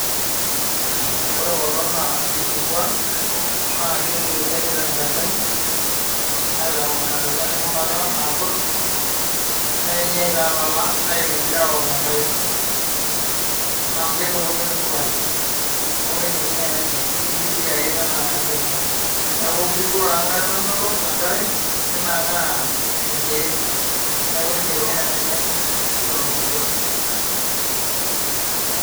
ore kulo naa irkikua naa kegueti ake tenkalem aitayu kuna tokiting eshumaya niwony toolala aibibiu enkalo amu kemelok ketii sukari awook ina are